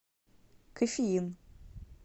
кофеин